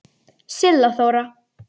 Silla Þóra.